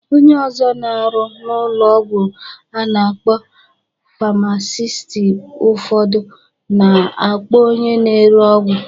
Onye ọzọ na-arụ n'ụlọ ọgwụ a na-akpọ famasisti ụfọdụ na-akpọ onye na-ere ọgwụ.